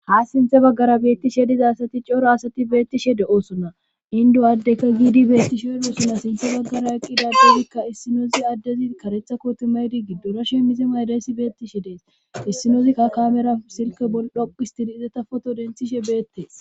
ha sinthe baggara beettishe diza asati coro asati beettishe de7osonna indu addeka giidi beettishe idoosonna sinthe baggara eqqidadezikka issinoozi addezi karetha kootimaydi giddora shemmize maydaysi beettishe dees issinoozikka kamera silke bol dhoqistidi izata foto denthishe beettees